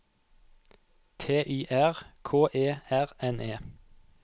T Y R K E R N E